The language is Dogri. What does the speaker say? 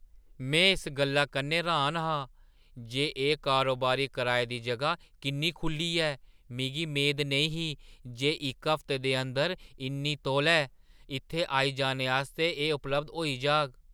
में इस गल्लै कन्नै र्‌हान हा जे एह् कारोबारी कराए दी जगह किन्नी खुʼल्ली ऐ। मिगी मेद नेईं ही जे इक हफ्ते दे अंदर इन्ने तौले इत्थै आई जाने आस्तै एह् उपलब्ध होई जाह्‌ग!